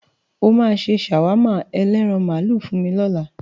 O máa ṣe ṣàwámà ẹlẹ́ran màlúù fún mi lọ́la.